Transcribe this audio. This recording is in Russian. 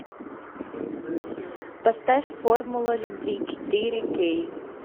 поставь формула любви четыре кей